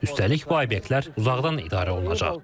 Üstəlik, bu obyektlər uzaqdan idarə olunacaq.